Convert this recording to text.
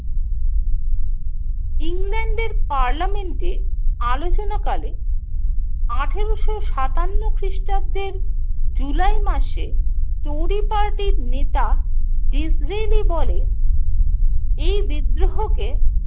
ইংল্যান্ডের পার্লামেন্টে আলোচনাকালে আঠেরোশো সাতান্ন খ্রিস্টাব্দের জুলাই মাসে টোরি পার্টির নেতা ডিসরেলি বলে, এই বিদ্রোহকে